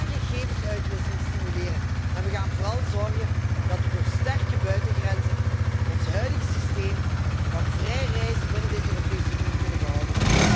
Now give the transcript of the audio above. We gaan gegevensuitwisseling stimuleren en we gaan vooral zorgen dat we door sterke buitengrenzen ons huidige systeem van vrij reizen binnen de Europese Unie kunnen behouden.